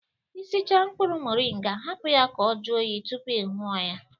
Ị sicha mkpụrụ moringa, hapụ ya ka ọ jụọ oyi tụpụ ị nwụọ ya